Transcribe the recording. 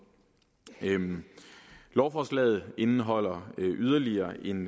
lovforslaget indeholder yderligere en